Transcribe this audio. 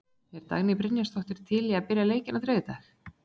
Er Dagný Brynjarsdóttir til í að byrja leikinn á þriðjudag?